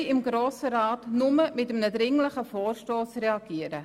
Wir können also im Grossen Rat nur mit einem dringlichen Vorstoss reagieren.